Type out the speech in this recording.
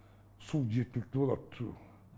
су жеткілікті болады су